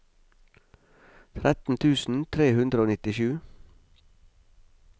tretten tusen tre hundre og nittisju